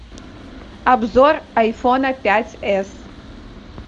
обзор айфона пять эс